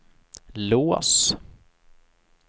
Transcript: lås